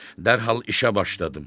Dərhal işə başladım.